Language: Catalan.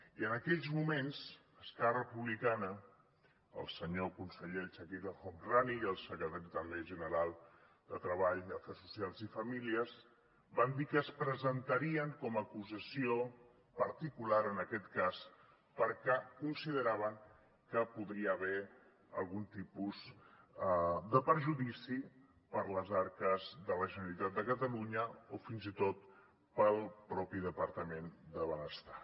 i en aquells moments esquerra republicana el senyor conseller chakir el homrani i el secretari també general de treball afers socials i famílies van dir que es presentarien com a acusació particular en aquest cas perquè consideraven que hi podria haver algun tipus de perjudici per a les arques de la generalitat de catalunya o fins i tot per al mateix departament de benestar